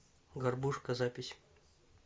горбушка запись